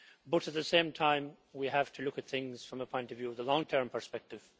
But at the same time we have to look at things from a point of view of the long term perspective.